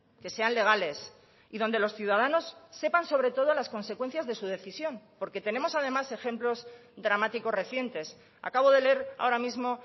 que sean legales y donde los ciudadanos sepan sobre todo las consecuencias de su decisión porque tenemos además ejemplos dramáticos recientes acabo de leer ahora mismo